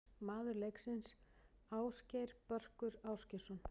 Maður leiksins: Ásgeir Börkur Ásgeirsson.